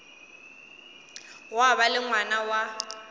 gwa ba le ngwana wa